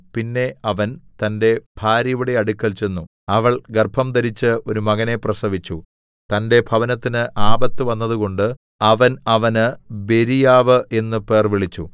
പിന്നെ അവൻ തന്റെ ഭാര്യയുടെ അടുക്കൽ ചെന്നു അവൾ ഗർഭംധരിച്ചു ഒരു മകനെ പ്രസവിച്ചു തന്റെ ഭവനത്തിന് ആപത്ത് വന്നതുകൊണ്ട് അവൻ അവന് ബെരീയാവു എന്നു പേർവിളിച്ചു